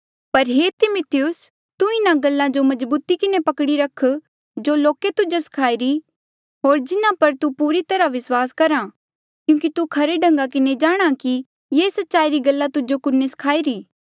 पर हे तिमिथियुस तू इन्हा सारी गल्ला जो मजबूती किन्हें पकड़ी रख जो लोके तुजो सखाई री होर जिन्हा पर तू पूरी तरहा विस्वास करहा क्यूंकि तू खरे ढंगा किन्हें जाणहां कि ये सच्चाई री गल्ला तुजो कुन्ने सखाई री